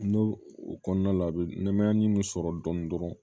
N'o o kɔnɔna la a bi nɛmɛ ni sɔrɔ dɔni dɔrɔn